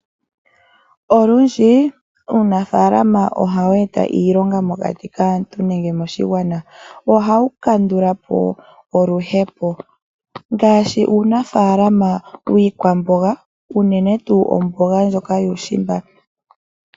Olundji uunafaalama ohawu eta iilonga mokati kaantu nenge moshigwana, ohawu landula po oluhepo. Ngaashi uunafaalama wiikwaamboga uunene tuu omboga ndjoka yuushimba.